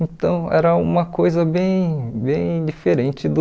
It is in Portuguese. Então, era uma coisa bem bem diferente do...